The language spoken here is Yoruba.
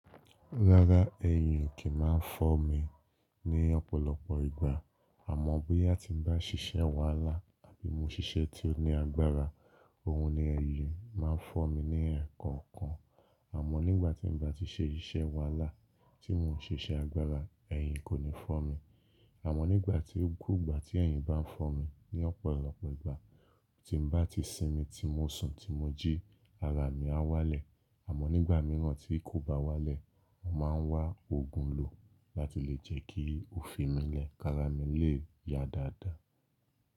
Rárá, ẹ̀yìn o kì n máa ń fọ́ mi ní ọ̀pọ̀lọpọ̀ ìgbà. Àmọ́ bóyá tí n bá ṣiṣẹ́ wàhálà àbí mo ṣiṣẹ́ tí ó ní agbára, òun ni ẹ̀yìn máa ń fọ́ mi ní ẹ̀ẹ̀kookan. Àmọ́ nígbà tí n bá ti ṣe iṣẹ́ wàhálà tí mo n ṣe iṣẹ́ agbára, ẹ̀yìn kò ní fọ́ mi. Àmọ́ nígbà tí gbogbo ìgbà tí ẹ̀yìn bá ń fọ́ mi ní ọ̀pọ̀lọpọ̀ ìgbà tí n bá ti sinmi, tí mo sùn, tí mo jí, ara mi á wálẹ̀. Àmọ́ nígbà mìíràn tí kò bá wálẹ̀, mo máa ń wá òògùn lò láti lè jẹ́ kí ó fi mí lẹ̀ ki ra mi lè yá dáadáa.